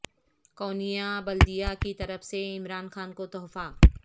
Konya بلدیہ کی طرف سے عمران خان کو تحفہ